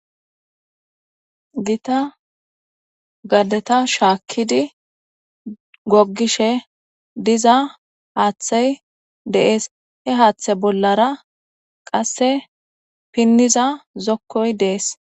Gita gadeta shaakkidi goggishe diza haaththay deees he haaththe bollara qasse pinniza zokkoy dees